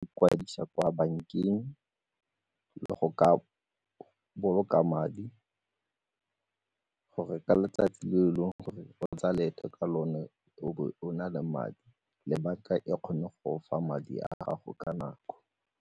Kwadisa kwa bankeng le go ka boloka madi gore ka letsatsi le e leng gore o tseye leeto ka lone o bo o na le madi le banka e kgone go o fa madi a gago ka nako.